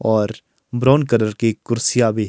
और brown colour की कुर्सियां भी--